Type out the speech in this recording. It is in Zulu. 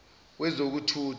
wezokuthutha